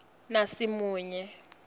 nasimunye